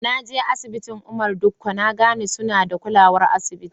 Na je asibitin Umar Dikko na gane suna da kulawar asibitin.